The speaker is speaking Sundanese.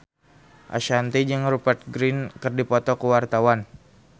Ashanti jeung Rupert Grin keur dipoto ku wartawan